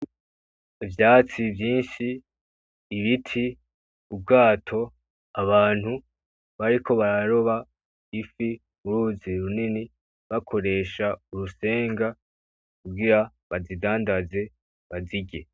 Ivyatsi vyinshi, ibiti, ubwato, abantu bariko bararofa ifi mu ruzi runini bakoresha urusenga kugira bazidandanze bazirye.